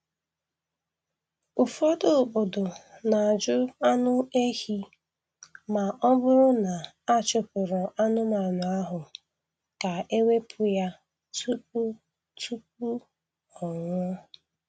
Ụfọdụ obodo na-ajụ anụ ehi ma ọ bụrụ na a chụpụrụ anụmanụ ahụ ka e wepụ ya tupu tupu ọ ọnwụ